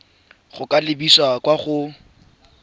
go ka lebisa kwa go